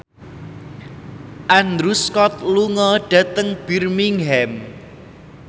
Andrew Scott lunga dhateng Birmingham